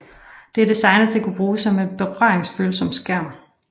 Det er designet til at kunne bruges med en berøringsfølsom skærm